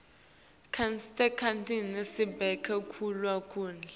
seneticandzisa sibeka kuto kudla